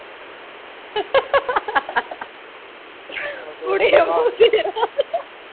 ਫਿਟੇਮੂੰਹਤੇਰਾ